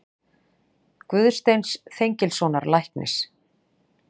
Guðsteins Þengilssonar læknis.